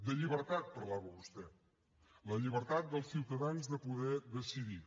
de llibertat parlava vostè la llibertat dels ciutadans de poder decidir